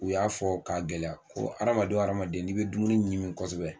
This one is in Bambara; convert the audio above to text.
U y'a fɔ k'a gɛlɛya ko hadamaden o hadamaden n'i bɛ dumuni ɲimi kosɛbɛ